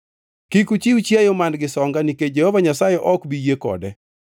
Kik uchiw chiayo man-gi songa nikech Jehova Nyasaye ok bi yie kode.